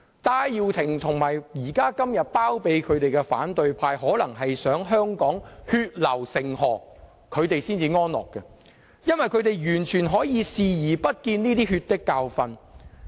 戴耀廷和現在包庇他的反對派可能想看到香港血流成河才會安樂，因為他們可以完全對這些"血的教訓"視而不見。